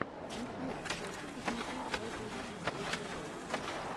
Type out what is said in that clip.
ютьюб хочу посмотреть радиолюбителя тв